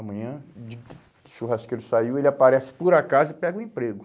Amanhã, digo, o churrasqueiro saiu, ele aparece por acaso e pega o emprego.